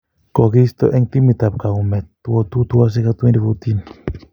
Kikiisto ing timit ab kaumet, 2002, 2006 ak 2014.